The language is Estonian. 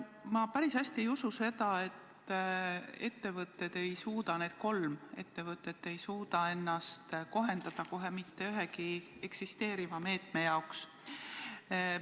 Ma päris hästi ei usu, et need kolm ettevõtet ei suuda ennast kohendada kohe mitte ühegi eksisteeriva meetme jaoks sobivaks.